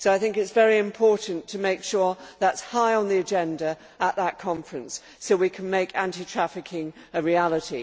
So I think it is very important to make sure that it is high on the agenda at that conference, so we can make anti trafficking a reality.